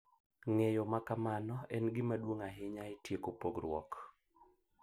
Ng’eyo ma kamano en gima duong’ ahinya e tieko pogruok